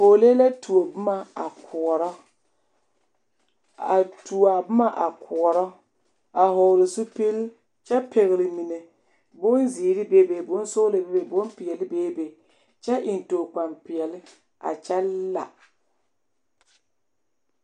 Pɔgelee la tuo boma a koɔrɔ a tuo a boma a koɔrɔ a hɔgle zupili kyɛ pɛgle mine bonzeere bebe bonsɔglɔ bebe bompeɛle bebe kyɛ eŋ tookpampeɛle a kyɛ la.